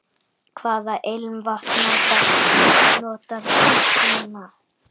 Hvaða ilmvatn notarðu núna?